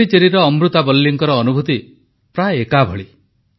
ପଣ୍ଡିଚେରୀର ଅମୃତାବଲ୍ଲୀଙ୍କର ଅନୁଭୂତି ମଧ୍ୟ ପ୍ରାୟ ଏଇଭଳି